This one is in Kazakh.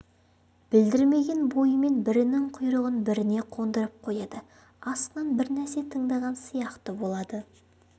білдірмеген бойымен бірінің құйрығын біріне қондырып қояды астынан бір нәрсе тыңдаған сияқты болады